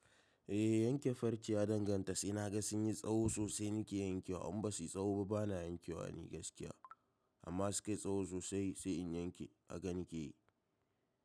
Eh, yanke farce ya danganta, sai na ga sun yi tsaho sosai nake yankewa, in ba su yi tsaho ba bana yankewa ni gaskiya. Amma su kai tsaho sosai sai in yanke, haka nake yi.